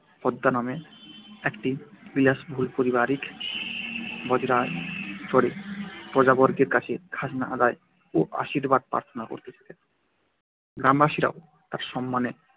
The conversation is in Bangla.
পদ্মা নামে একটি বিলাসবহুল পারিবারিক বজরায় চড়ে প্রজাবর্গের কাছে খাজনা আদায় ও আশীর্বাদ প্রার্থনা করতে যেতেন। গ্রামবাসীরাও তার সম্মানে